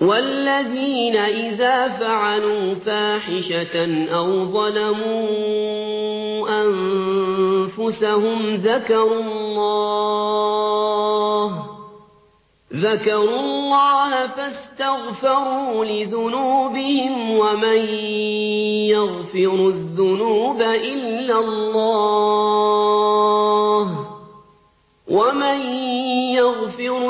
وَالَّذِينَ إِذَا فَعَلُوا فَاحِشَةً أَوْ ظَلَمُوا أَنفُسَهُمْ ذَكَرُوا اللَّهَ فَاسْتَغْفَرُوا لِذُنُوبِهِمْ وَمَن يَغْفِرُ